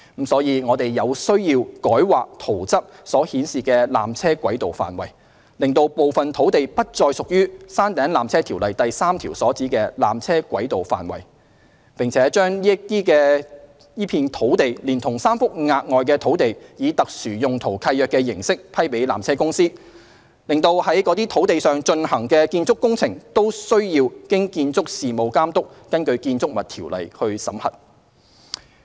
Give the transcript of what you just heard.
因此，我們有需要改劃"圖則"所示的纜車軌道範圍，使部分土地不再屬《條例》第3條所指的纜車軌道範圍，並把該片土地連同3幅額外土地以特殊用途契約的形式批予纜車公司，使在該等土地上進行的建築工程均須經建築事務監督根據《建築物條例》審核。